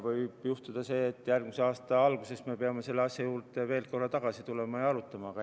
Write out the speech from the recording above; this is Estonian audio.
Võib juhtuda see, et järgmise aasta alguses me peame selle asja juurde veel korra tagasi tulema ja arutama.